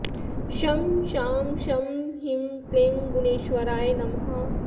ॐ शं शां षं ह्रीं क्लीं गुणेश्वराय नमः